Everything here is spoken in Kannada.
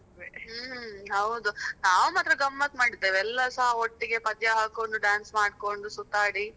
ಹ್ಮ್ ಹೌದು ನಾವ್ ಮಾತ್ರ ಗಮ್ಮತ್ ಮಾಡಿದ್ದೇವೆ, ಎಲ್ಲಾಸ ಒಟ್ಟಿಗೆ, ಪದ್ಯ ಹಾಕೊಂಡು dance ಮಾಡ್ಕೊಂಡು ಸುತ್ತಾಡಿ.